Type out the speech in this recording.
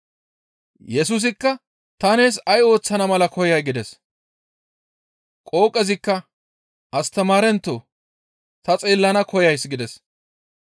Yesusikka, «Ta nees ay ooththana mala koyay?» gides. Qooqezikka, «Astamaarentoo! Ta xeellana koyays» gides.